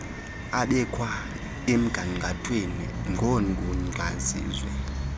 abekwa emgangathweni ngoogunyaziwe